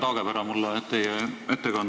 Aitäh, härra Taagepera!